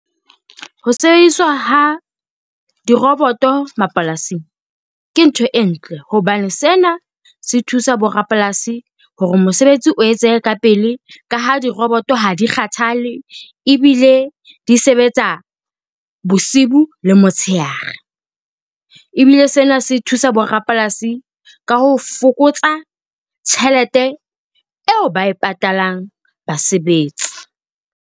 Ho sebediswa ha diroboto mapolasing ke ntho e ntle hobane sena se thusa bo rapolasi hore mosebetsi o etsehe ka pele ka ha diroboto ha di kgathale, ebile di sebetsa bosiu le motsheare ebile sena se thusa bo rapolasi ka ho fokotsa tjhelete eo ba e patalang basebetsi.